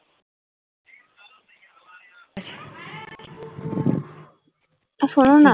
আর শোনো না